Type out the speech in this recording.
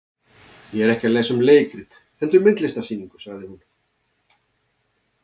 Ég er ekki að lesa um leikrit heldur myndlistarsýningu, sagði hún.